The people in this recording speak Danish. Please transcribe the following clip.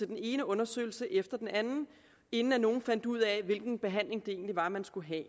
den ene undersøgelse efter den anden inden nogen fandt ud af hvilken behandling det egentlig var at man skulle have